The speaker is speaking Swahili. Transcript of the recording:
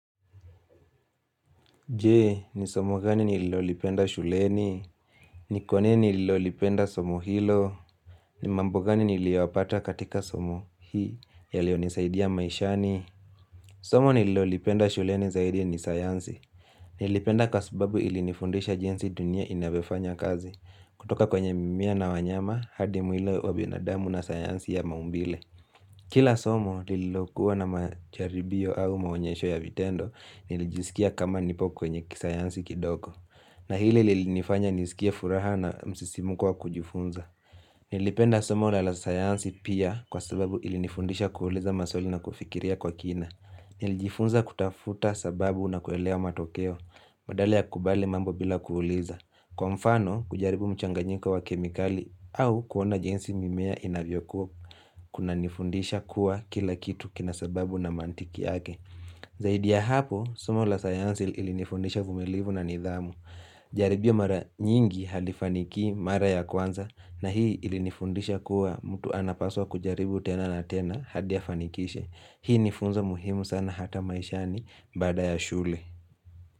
Je, ni somo gani nililolipenda shuleni, ni kwa nini nililolipenda somo hilo, ni mambo gani niliyapata katika somo hii, yaliyonisaidia maishani. Somo nililolipenda shuleni zaidi ni sayansi, nilipenda kwa sababu ili nifundisha jinsi dunia inavyo fanya kazi, kutoka kwenye mimea na wanyama hadi mwiili wa binadamu na sayansi ya maumbile. Kila somo lililokuwa na majaribio au maonyesho ya vitendo nilijisikia kama nipo kwenye kisayansi kidogo. Na ile lilifanya nisikia furaha na musisimuko wa kujifunza. Nilipenda somo na la sayansi pia kwa sababu ilinifundisha kuuliza maswali na kufikiria kwa kina. Nilijifunza kutafuta sababu na kuelwa matokeo badala ya kubali mambo bila kuuliza. Kwa mfano, kujaribu mchanganyiko wa kemikali au kuona jinsi mimea inavyokuwa kuna nifundisha kuwa kila kitu kina sababu na mantiki yake. Zaidi ya hapo, soma la sayansi ili nifundisha uvumilivu na nidhamu. Jaribio mara nyingi halifanikii mara ya kwanza na hii ilinifundisha kuwa mtu anapaswa kujaribu tena na tena hadi afanikishe. Hii nifunzo muhimu sana hata maishani baada ya shule.